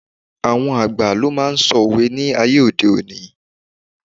Àwọn àgbà ló máa n sọ òwe ni aye ode oni